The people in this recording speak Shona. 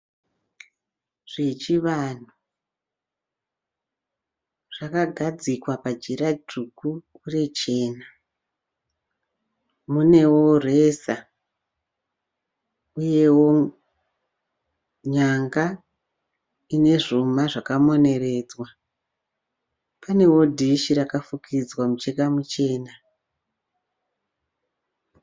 Zvechivanhu zvakagadzikwa pajira dzvuku uye jena munewo reza uyewo nyanga ine zvuma zvakamoneredzwa panewo dhishi rakafukidzwa mucheka muchena.